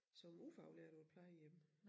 Som ufaglært på et plejehjem